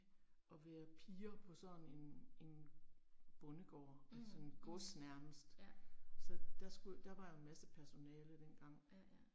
Og være piger på sådan en en bondegård altså sådan gods nærmest. Så der skulle, der var jo en masse personale dengang